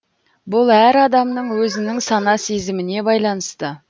бұл әр адамның өзінің сана сезіміне байланысты